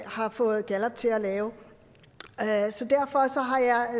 har fået gallup til at lave så derfor